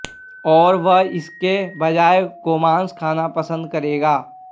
और वह इसके बजाय गोमांस खाना पसंद करेगा